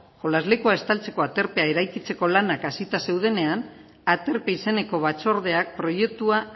jolaslekua estaltzeko aterpea eraikitzeko lanak hasita zeudenean aterpe izeneko batzordeak proiektua